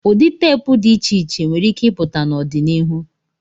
Ụdị teepu dị iche iche nwere ike ịpụta n'ọdịnihu.